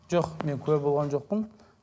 жоқ мен куә болған жоқпын